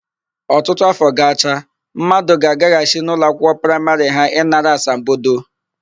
Ọtụtụ áfọ gacha, mmadụ ga-agaghachi n'ụlọakwụkwọ praịmarị ha ịnara asambodo.